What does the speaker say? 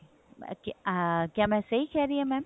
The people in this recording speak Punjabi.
ਮੈਂ ਕਿਆ ਕਿਆ ਮੈਂ ਸਹੀ ਕਹਿ ਰਹੀ ਹਾਂ mam